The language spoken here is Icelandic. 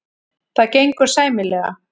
Það gengur sæmilega.